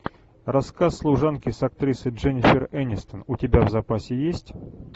рассказ служанки с актрисой дженифер энистон у тебя в запасе есть